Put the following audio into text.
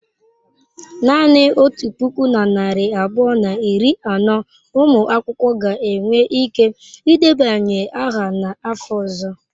Naanị otu puku na narị abụọ na iri anọ ụmụ akwụkwọ ga-enwe ike ịdebanye aha n'afọ ọzọ.